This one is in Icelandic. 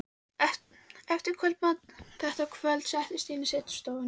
Eftir kvöldmatinn þetta kvöld settist ég inn í setustofuna.